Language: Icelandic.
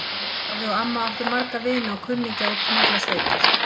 Afi og amma áttu marga vini og kunningja úti um allar sveitir.